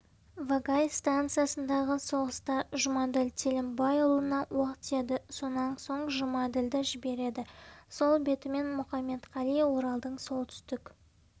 вагай станциясындағы соғыста жұмаділ телімбайұлына оқ тиеді сонан соң жұмаділді жібереді сол бетімен мұқаметқали оралдың солтүстік